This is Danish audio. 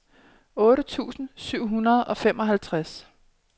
otte tusind syv hundrede og femoghalvtreds